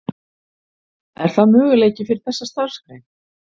Er það möguleiki fyrir þessa starfsgrein?